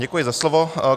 Děkuji za slovo.